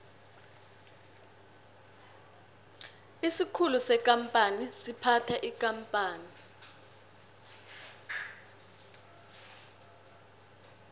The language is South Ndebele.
isikhulu sekampani siphatha ikampani